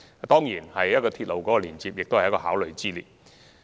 當然，鐵路亦是考慮方案之一。